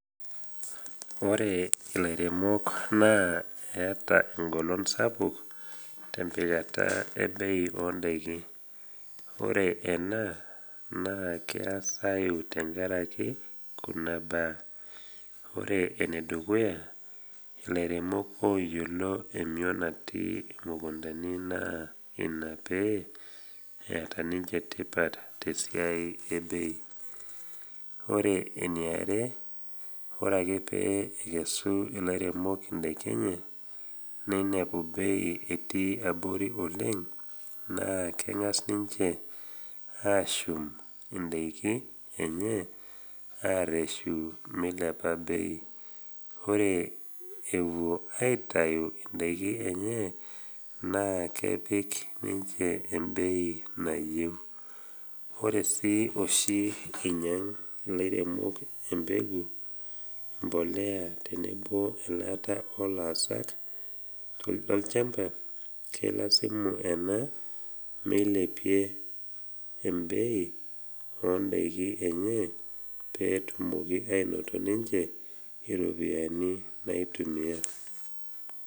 Ore ilairemok naa eata engolon sapuk tempikata ebei o ndaiki. Ore ena, naa keasayu tenkaraki kuna baa, ore enedukuya, ilairemok oyiolo emion natii imukundani naa ina pee eata ninche tipat te siai ebei. Ore eniare, ore ake pee ekesu ilairemok indaiki enye neinepu bei etii abori oleng, naa keng’as ninche ashum indaiki enye areshu meilepa bei, ore ewuo aitai indaki enye, naa kepik ninche embei nayeu. Ore sii oshi einyang’ ilairemok embegu, impolea tenebo elaata o laasak lolchamba, keilazimu ena meilepie embei o ndaiki enye peetumoki ainoto ninche iropiani naitumia.